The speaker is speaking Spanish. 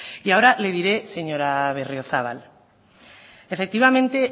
y ahora le diré señora berriozabal efectivamente